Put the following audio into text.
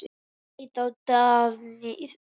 Hann leit á Daðínu.